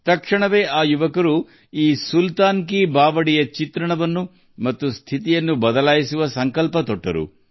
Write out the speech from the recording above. ಆ ಕ್ಷಣದಲ್ಲಿಯೇ ಈ ಯುವಕರು ಸುಲ್ತಾನ್ ಕಿ ಬಾವೋಲಿಯ ಚಿತ್ರ ಮತ್ತು ಅದೃಷ್ಟವನ್ನು ಬದಲಾಯಿಸಲು ನಿರ್ಧರಿಸಿದರು